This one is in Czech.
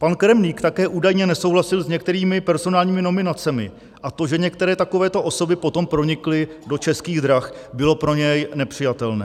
Pan Kremlík také údajně nesouhlasil s některými personálními nominacemi a to, že některé takovéto osoby potom pronikly do Českých drah, bylo pro něj nepřijatelné.